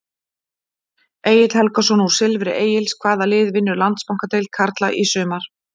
Egill Helgason úr Silfri Egils Hvaða lið vinnur Landsbankadeild karla í sumar?